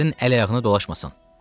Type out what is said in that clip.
Böyüklərin əl-ayağını dolaşmasın.